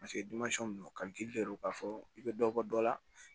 Paseke don ka gili de do k'a fɔ i bɛ dɔ bɔ dɔ la